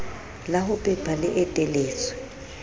la ho pepa le eteletswe